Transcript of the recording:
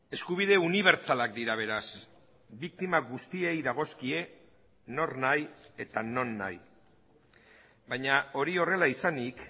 eskubide unibertsalak dira beraz biktima guztiei dagozkie nor nahi eta non nahi baina hori horrela izanik